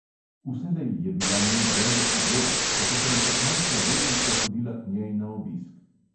Vselej je bila moj velik idol, še ko sem kot majhna deklica hodila k njej na obisk.